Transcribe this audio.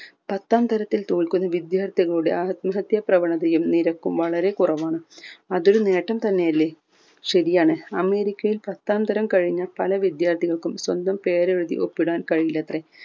പത്താം തരത്തിൽ തോൽക്കുന്ന വിദ്യാർത്ഥികളുടെ ആത്മഹത്യ പ്രവണതയും നിരക്കും വളരെ കുറവാണ് അതൊരു നേട്ടം തന്നെ അല്ലെ ശരിയാണ് അമേരിക്കയിൽ പത്താം തരം കഴിഞ്ഞ പല വിദ്യാർത്ഥികൾക്കും സ്വന്തം പേരെഴുതി ഒപ്പിടാൻ കഴില്ലത്രെ